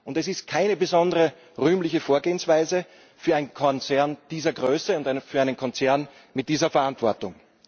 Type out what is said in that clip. Es ist keine besonders rühmliche Vorgehensweise für einen Konzern dieser Größe und für einen Konzern mit dieser Verantwortung.